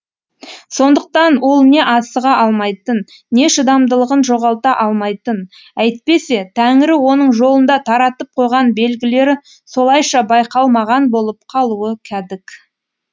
сондықтан ол не асыға алмайтын не шыдамдылығын жоғалта алмайтын әйтпесе тәңірі оның жолында таратып қойған белгілері солайша байқалмаған болып қалуы кәдік